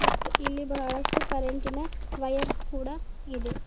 ಇಲ್ಲಿ ಬಹಳಷ್ಟು ಕರೆಂಟಿನ ವಯರ್ಸ್ ಕೂಡ ಇದೆ.